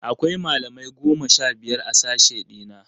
Akwai malamai goma sha biyar a sashe ɗina.